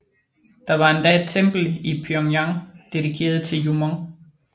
Der var endda et tempel i Pyongyang dedikeret til Jumong